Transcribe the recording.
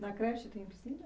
Na creche tem piscina?